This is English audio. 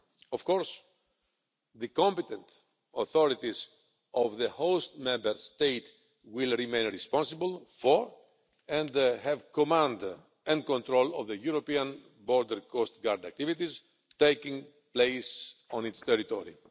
Of course, the competent authorities of the host Member State will remain responsible for, and have command and control of, the European Border and Coast Guard activities taking place on its territory.